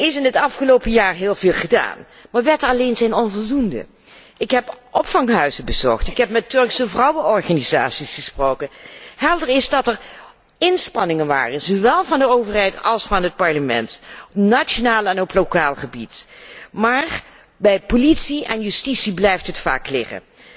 Er is in het afgelopen jaar heel veel gedaan, maar wetten alleen zijn onvoldoende. Ik heb opvanghuizen bezocht. Ik heb met Turkse vrouwenorganisaties gesproken. Het is duidelijk dat er inspanningen zijn gedaan zowel door de overheid als door het parlement, op nationaal en ook lokaal gebied, maar bij politie en justitie blijft het vaak liggen.